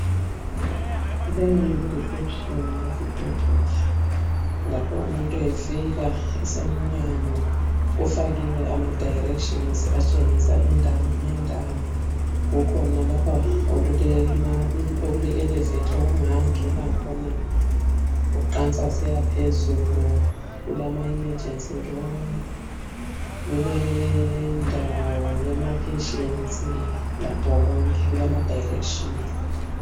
Leyi yiReceiption yesibhedlela lapho umuntu efika esemnyango kufakiwe amadirections atshengisa indawo ngendawo. Kukhona lapha okuleElevator okungangena khona uqansa usiyaphezulu. KulamaEmergence room kulendawo yamapatients lakho konke kulamadirections.